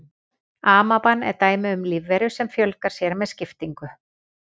Amaban er dæmi um lífveru sem fjölgar sér með skiptingu.